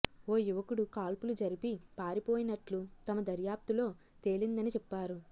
ఓ యువకుడు కాల్పులు జరిపి పారిపోయినట్లు తమ దర్యాప్తులో తేలిందని చెప్పారు